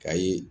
Kayi